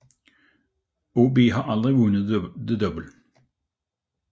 OB har aldrig vundet The Double